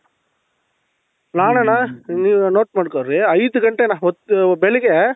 ನಾನಣ್ಣ ನೀವು note ಮಾಡ್ಕೊಳ್ರಿ ಐದು ಗಂಟೆಗೆ ಅಣ್ಣ ಅವತ್ತು ಬೆಳಗ್ಗೆ